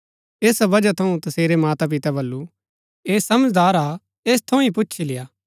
ऐसा बजहा थऊँ तसेरै मातापिता बल्लू ऐह समझदार हा ऐस थऊँ ही पुछी लेय्आ